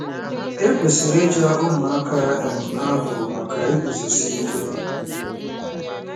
E kwesịrị ịja ụmụaka um ahụ maka iguzosi ike.